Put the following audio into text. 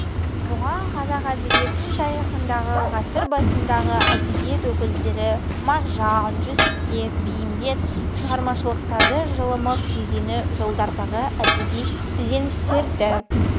бұған қазақ әдебиетін тарихындағы ғасыр басындағы әдебиет өкілдері мағжан жүсіпбек бейімбет шығармашылықтары жылымық кезеңі жылдардағы әдеби ізденістерді